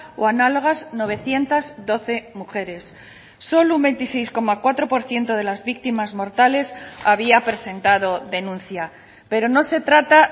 o análogas novecientos doce mujeres solo un veintiséis coma cuatro por ciento de las víctimas mortales había presentado denuncia pero no se trata